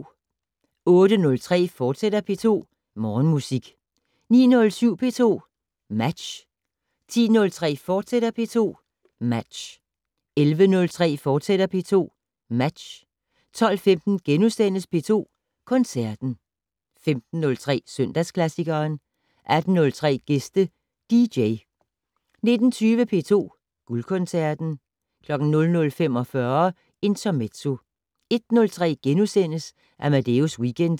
08:03: P2 Morgenmusik, fortsat 09:07: P2 Match 10:03: P2 Match, fortsat 11:03: P2 Match, fortsat 12:15: P2 Koncerten * 15:03: Søndagsklassikeren 18:03: Gæste dj 19:20: P2 Guldkoncerten 00:45: Intermezzo 01:03: Amadeus Weekend *